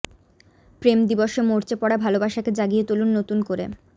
প্রেম দিবসে মরচে পড়া ভালবাসাকে জাগিয়ে তুলুন নতুন করে